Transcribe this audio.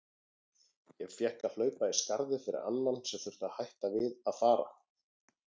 Ég fékk að hlaupa í skarðið fyrir annan sem þurfti að hætta við að fara.